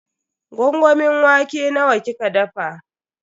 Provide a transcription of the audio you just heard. Gwangwamin wake nawa kika dafa?